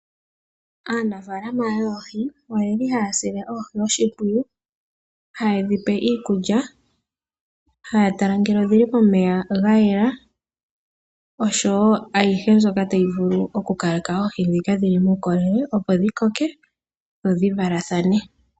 Aanafaalama yoohi ohaya sile oohi oshimpwiyu, haye dhi pe iikulya, haya tala ngele odhi li momeya ga yela oshowo ayihe mbyoka tayi vulu okukaleka oohi dhi na uukolele opo dhi koke dho dhi valathane.